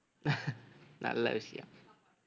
நல்ல விஷயம்